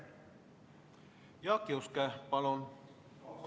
Jaak Juske, palun!